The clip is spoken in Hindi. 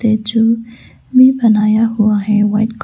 में बनाया हुआ है व्हाइट कल--